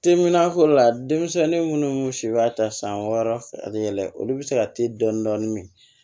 Teminanko la denmisɛnnin minnu si b'a ta san wɔɔrɔ a bɛ yɛlɛ olu bɛ se ka te dɔɔnin dɔɔnin min